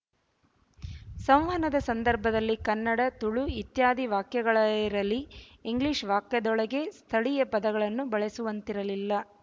ಸಂವಹನದ ಸಂದರ್ಭದಲ್ಲಿ ಕನ್ನಡ ತುಳು ಇತ್ಯಾದಿ ವಾಕ್ಯಗಳಿರಲಿ ಇಂಗ್ಲೀಷ್ ವಾಕ್ಯದೊಳಗೆ ಸ್ಥಳೀಯ ಪದಗಳನ್ನೂ ಬಳಸುವಂತಿರಲಿಲ್ಲ